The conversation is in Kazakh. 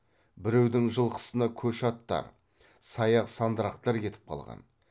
біреудің жылқысына көш аттар саяқ сандырақтар кетіп қалған